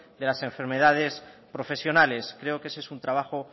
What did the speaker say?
de las enfermedades profesionales creo que ese es un trabajo